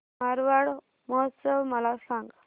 मारवाड महोत्सव मला सांग